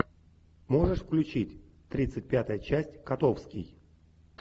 можешь включить тридцать пятая часть котовский